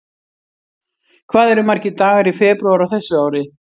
Hvað eru margir dagar í febrúar á þessu ári?